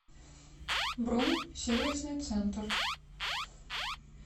бронь сервисный центр